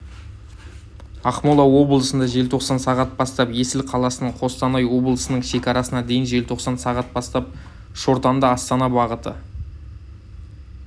ақмола облысында желтоқсан сағат бастап есіл қаласынан қостанай облысының шекарасына дейін желтоқсан сағат бастап шортанды-астана бағыты